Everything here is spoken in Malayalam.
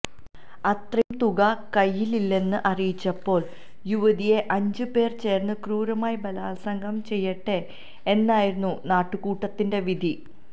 അത്രയും തുക കൈയിലില്ലെന്ന് അറിയിച്ചപ്പോള് യുവതിയെ അഞ്ച് പേര് ചേര്ന്ന് ക്രൂരമായി ബലാത്സംഗം ചെയ്യട്ടെ എന്നായിരുന്നു നാട്ടുകൂട്ടത്തിന്റെ വിധി